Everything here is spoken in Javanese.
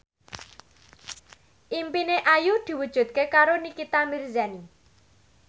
impine Ayu diwujudke karo Nikita Mirzani